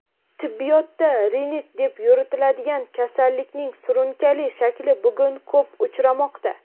tibbiyotda "rinit" deb yuritiladigan kasallikning surunkali shakli bugun ko‘p uchramoqda.